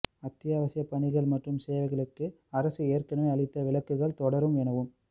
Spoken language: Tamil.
அத்தியாவசியப் பணிகள் மற்றும் சேவைகளுக்கு அரசு ஏற்கனவே அளித்த விலக்குகள் தொடரும் எனவும்